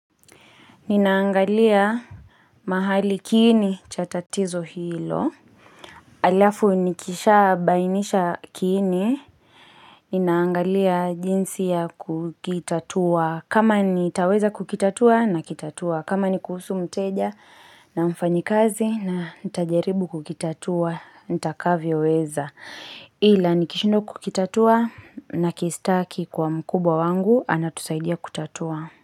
Ninaangalia mahali kiini cha tatizo hilo. Alafu nikisha bainisha kiini. Ninaangalia jinsi ya kukitatua. Kama nitaweza kukitatua nakitatua. Kama ni kuhusu mteja na mfanyikazi na nitajaribu kukitatua. Nitakavyoweza. Ila nikishindwa kukitatua nakistaki kwa mkubwa wangu. Anatusaidia kutatua.